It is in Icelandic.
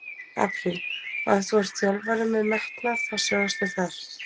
Apríl, og ef þú ert þjálfari með metnað- þá sjáumst við þar!